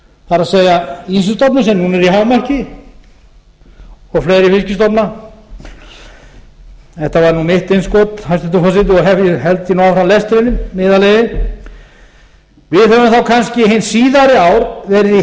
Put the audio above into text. það er ýsustofninn sem núna er í hámarki og fleiri fiskstofna þetta var nú mitt innskot hæstvirtur forseti og held ég nú áfram með lesturinn með yðar leyfi við höfum þá kannski hin síðari ár verið í